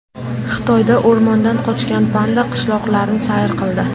Xitoyda o‘rmondan qochgan panda qishloqlarni sayr qildi .